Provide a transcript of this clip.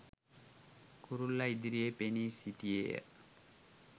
කුරුල්ලා ඉදිරියේ පෙනී සිටියේය